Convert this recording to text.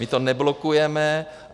My to neblokujeme.